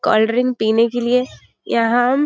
cold drink पिने के लिए यहाँ --